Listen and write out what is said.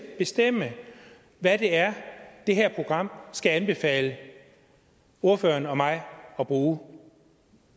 bestemme hvad det er det her program skal anbefale ordføreren og mig at bruge